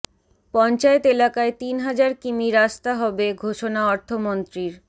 পঞ্চায়েত এলাকায় তিন হাজার কিমি রাস্তা হবে ঘোষণা অর্থমন্ত্রীর